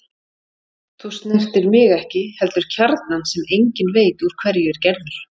Þú snertir mig ekki heldur kjarnann sem enginn veit úr hverju er gerður.